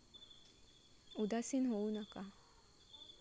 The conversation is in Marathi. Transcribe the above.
उदासीन होऊ नका!